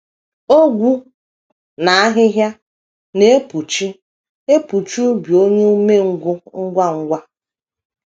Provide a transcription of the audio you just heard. Ogwu na ahịhịa na - epuchi epuchi ubi onye umengwụ ngwa ngwa.